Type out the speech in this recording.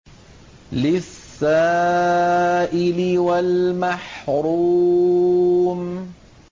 لِّلسَّائِلِ وَالْمَحْرُومِ